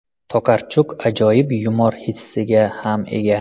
Tokarchuk ajoyib yumor hissiga ham ega.